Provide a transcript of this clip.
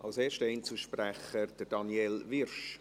Als erster Einzelsprecher spricht Daniel Wyrsch.